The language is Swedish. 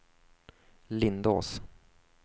Lindås